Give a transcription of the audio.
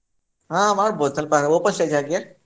ಹಾ ಮಾಡ್ಬೋದು ಸ್ವಲ್ಪ open stage ಹಾಕಿ.